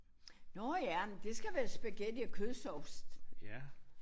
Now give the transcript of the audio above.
Nåh ja men det skal være spaghetti og kødsovs